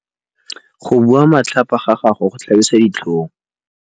Go bua matlhapa ga gagwe go tlhabisa ditlhong.